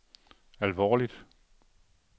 alvorligt